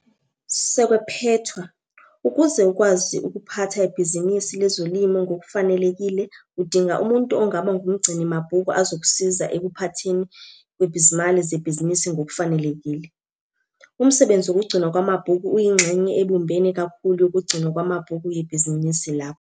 Sekwephethwa, ukuze ukwazi ukuphatha ibhizinisi lezolimo ngokufanelekile udinga umuntu ongaba ngumgcini mabhuku azokusiza ekuphathweni kwezimali zebhizinisi ngokufanelekile. Umsebenzi wokugcinwa kwamabhuku uyingxenye ebumbene kakhulu yokugcinwa kwamabhuku yebhizinisi lakho.